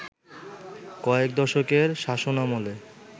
কয়েক দশকের শাসনামলে